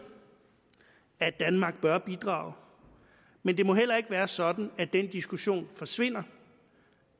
at danmark bør bidrage men det må heller ikke være sådan at den diskussion forsvinder